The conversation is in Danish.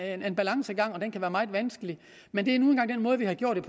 en balancegang og at den kan være meget vanskelig men det er nu engang den måde vi har gjort